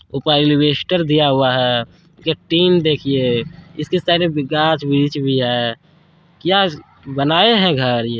ऊपर ऐलवेस्टर दिया हुआ है। इसका टीन देखिए इसके साइड मे भी गाछ वृक्ष भी है। क्या बनाए है घर ये।